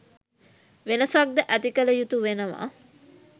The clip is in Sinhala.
වෙනසක්ද ඇති කළ යුතු වෙනවා.